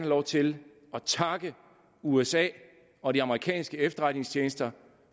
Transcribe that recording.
lov til at takke usa og de amerikanske efterretningstjenester